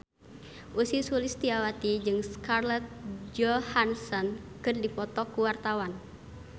Ussy Sulistyawati jeung Scarlett Johansson keur dipoto ku wartawan